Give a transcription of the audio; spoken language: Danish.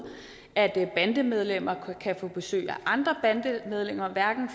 at bandemedlemmer kan få besøg af andre bandemedlemmer